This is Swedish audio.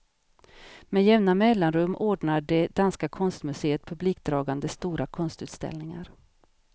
Med jämna mellanrum ordnar det danska konstmuseet publikdragande stora konstutställningar.